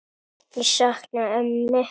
Ég sakna ömmu.